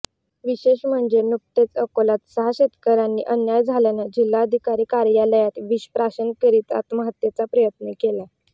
विशेष म्हणजे नुकतेच अकोल्यात सहा शेतकर्यांनी अन्याय झाल्यानं जिल्हाधिकारी कार्यालयात विषप्राशन करीत आत्महत्येचा प्रयत्न केलाय